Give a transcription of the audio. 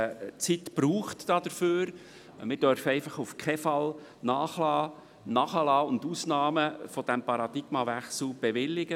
Wir dürfen aber auf keinen Fall nachlassen und Ausnahmen von diesem Paradigmenwechsel zulassen.